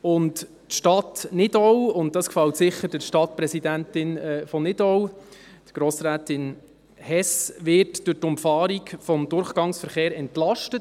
Die Stadt Nidau – das gefällt sicher der Stadtpräsidentin von Nidau, Grossrätin Hess – wird durch die Umfahrung des Durchgangverkehrs entlastet.